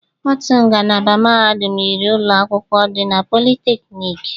Otu ngalaba mahadum yiri ụlọ akwụkwọ dị na polytechnic